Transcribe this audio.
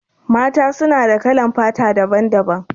Mata su na da kalan fata daban-daban.